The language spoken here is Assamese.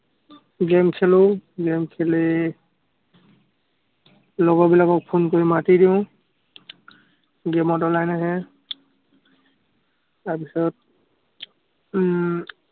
game খেলো। game খেলি, লগৰ বিলাকক phone কৰি মাটি দিওঁ। তাৰ পিছত উম